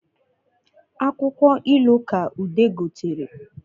Akwụkwọ ilu ka ude gotere